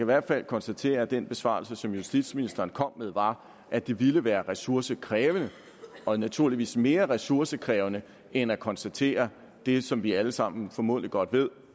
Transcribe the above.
hvert fald konstatere at den besvarelse som justitsministeren kom med var at det ville være ressourcekrævende og naturligvis mere ressourcekrævende end at konstatere det som vi alle sammen formodentlig godt ved